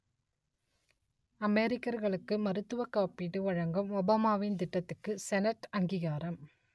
அமெரிக்கர்களுக்கு மருத்துவக் காப்பீடு வழங்கும் ஒபாமாவின் திட்டத்துக்கு செனட் அங்கீகாரம்